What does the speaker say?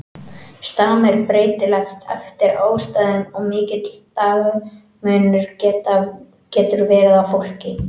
Stam er breytilegt eftir aðstæðum og mikill dagamunur getur verið á fólki.